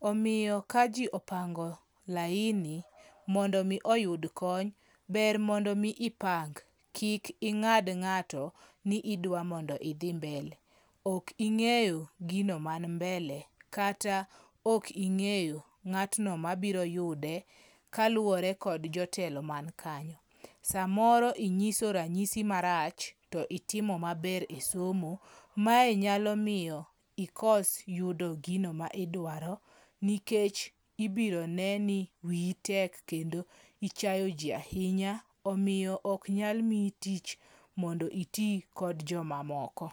omiyo ka jii opango laini mondo mii oyud kony ber mondo mii ipang kik ing'ad ng'ato ni idwa mondo idhi mbele. Ok ing'eyo gino ma mbele kata ok ing'eyo ng'atno mabiro yude kaluwore kod jotelo man kanyo. Samoro inyiso ranyisi marach to itimo maber e somo. Mae nyalo miyo ikos yudo gino midwaro nikech ibro ne ni wiyi tek kendo ichayo jii ahinya omiyo ok nyal miyi tich mondo itii kod jomamoko.